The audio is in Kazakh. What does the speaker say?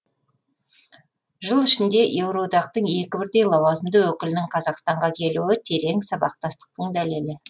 жыл ішінде еуроодақтың екі бірдей лауазымды өкілінің қазақстанға келуі терең сабақтастықтың дәлелі